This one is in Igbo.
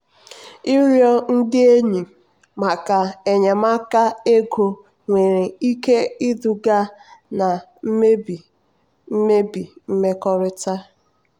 ịrịọ ndị enyi maka enyemaka ego nwere ike iduga na mmebi mmebi mmekọrịta.